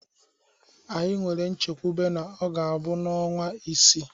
Anyị nwere nchekwube na ọ ga-abụ n'ọnwa isii.